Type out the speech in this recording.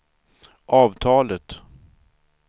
avtalet